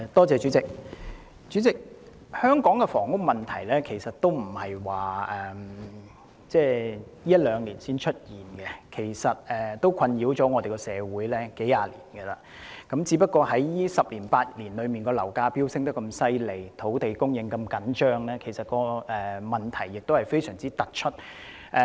主席，香港的房屋問題並非近一兩年才出現，其實已困擾社會數十年，只是在最近10年、8年，樓價飆升、土地供應緊張，令問題非常突出。